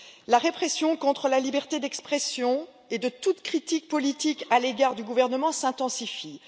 La répression contre la liberté d'expression et la condamnation de toute critique politique à l'égard du gouvernement s'intensifient.